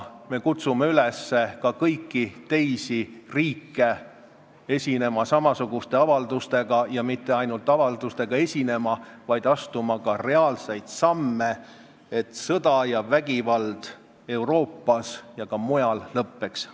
Me kutsume ka kõiki teisi riike üles esinema samasuguste avaldustega ja mitte ainult avaldustega esinema, vaid me kutsume üles astuma ka reaalseid samme, et sõda ja vägivald Euroopas ja ka mujal lõppeks.